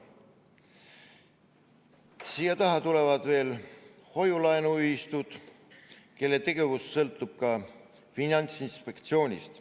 Siia taha tulevad veel hoiu-laenuühistud, kelle tegevus sõltub samuti Finantsinspektsioonist.